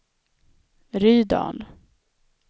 Rydal